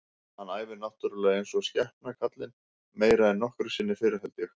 Hann æfir náttúrulega eins og skepna kallinn, meira en nokkru sinni fyrr held ég.